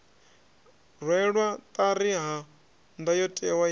rwelwa ṱari ha ndayotewa ya